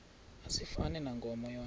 asifani nankomo yona